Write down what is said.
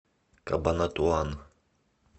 кабанатуан